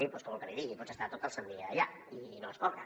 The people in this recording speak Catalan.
doncs què vol que li digui pots estar tot el sant dia allà i no es cobra